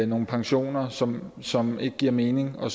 nogle pensioner som som ikke giver mening og